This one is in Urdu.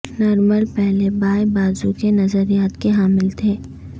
نرمل پہلے بائیں بازو کے نظریات کے حامل تھے